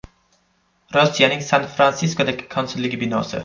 Rossiyaning San-Fransiskodagi konsulligi binosi.